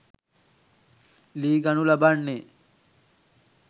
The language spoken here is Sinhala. ලී ගනු ලබන්නේ